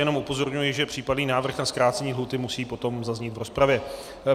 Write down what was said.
Jenom upozorňuji, že případný návrh na zkrácení lhůty musí potom zaznít v rozpravě.